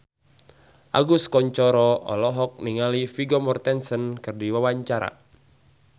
Agus Kuncoro olohok ningali Vigo Mortensen keur diwawancara